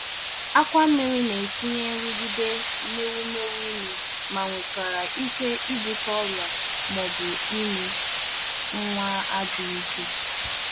Akwà nmiri na-etinye nrụgide n’ewumewụ ime ma nwekwara ike ibute ọrịa ma ọ bụ ime nwa adịghị ike.